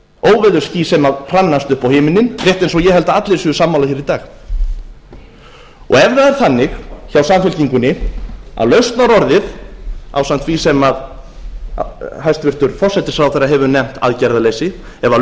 óveðursský sem hrannast upp á himininn rétt eins og ég held að allir séu sammála hér í dag ef það er þannig hjá samfylkingunni að lausnarorðið ásamt því sem hæstvirtur forsætisráðherra hefur nefnt aðgerðaleysi ef lausnarorðið